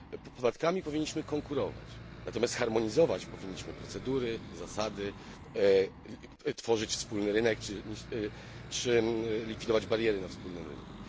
Podatkami powinniśmy konkurować, natomiast harmonizować powinniśmy procedury, zasady, powinniśmy tworzyć wspólny rynek czy likwidować bariery na wspólnym rynku.